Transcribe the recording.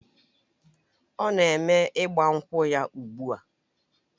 Ọ na-eme ịgbankwu ya ugbu a